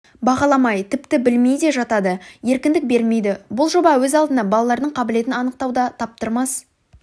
бағаламай тіпті білмей де жатады еркіндік бермейді бұл жоба өз алдына балалардың қабілетін анықтауда таптырмас